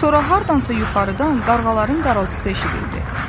Sonra hardansa yuxarıdan qarğaların qarıltısı eşidildi.